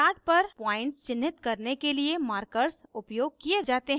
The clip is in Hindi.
chart पर points चिन्हित करने के लिए markers उपयोग किये जाते हैं